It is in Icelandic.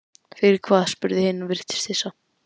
Fyrir hvað, spurði hin og virtist hissa.